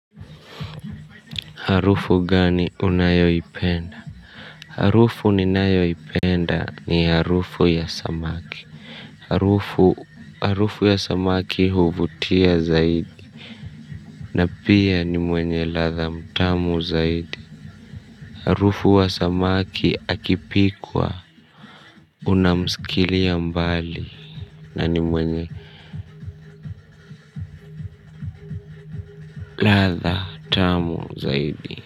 Harufu gani unayoipenda, harufu ninayoipenda ni harufu ya samaki. Harufu ya samaki huvutia zaidi. Na pia ni mwenye latha mtamu zaidi. Harufu wa samaki akipikwa unamsikilia mbali. Na ni mwenye latha mtamu zaidi.